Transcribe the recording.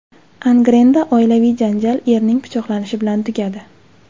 Angrenda oilaviy janjal erning pichoqlanishi bilan tugadi.